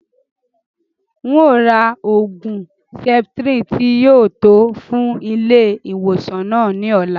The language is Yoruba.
N o rà oògùn septrin tí yìí ó tò fún ilé ìwòsàn náà ni ọ̀la